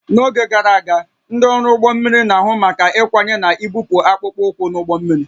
N'oge gara aga, ndị ọrụ ụgbọ mmiri na-ahụ maka ịkwanye na ibupụ akpụkpọ ụkwụ n'ụgbọ mmiri